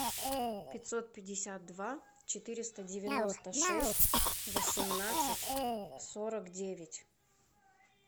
пятьсот пятьдесят два четыреста девяносто шесть восемнадцать сорок девять